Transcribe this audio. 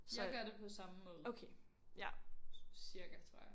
Jeg gør det på samme måde. Cirka tror jeg